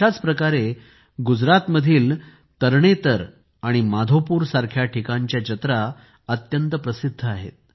अशाच प्रकारे गुजरातमधील तरणेतर आणि माधोपुर सारख्या ठिकाणच्या जत्रा अत्यंत प्रसिध्द आहेत